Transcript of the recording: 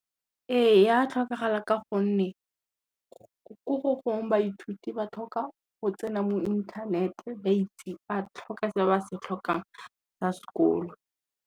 Ee ya tlhokagala ka gonne, ko gogong baithuti ba tlhoka go tsena mo inthanete ba tlhoka se ba se tlhokang sa sekolo.